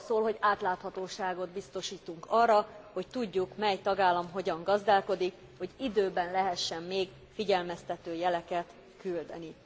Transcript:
Ez arról szól, hogy átláthatóságot biztosítunk arra, hogy tudjuk, mely tagállam hogyan gazdálkodik, hogy időben lehessen még figyelmeztető jeleket küldeni.